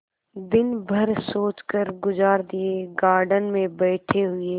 दिन भर सोचकर गुजार दिएगार्डन में बैठे हुए